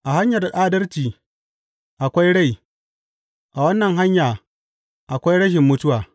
A hanyar adalci akwai rai; a wannan hanya akwai rashin mutuwa.